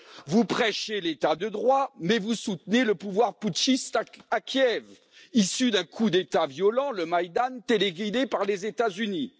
Vous prêchez l'état de droit mais vous soutenez le pouvoir putschiste à Kiev, issu d'un coup d'État violent le Maïdan téléguidé par les États Unis.